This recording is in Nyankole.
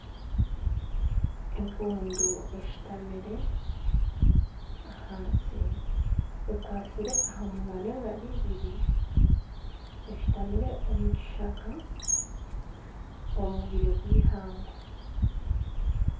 Empundu eshitamire ahansi ekwastire aha munywa n'engaro ibiri eshitamire omu kishaka omu bwire bw'ihangwe.